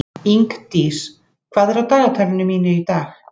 Ingdís, hvað er á dagatalinu mínu í dag?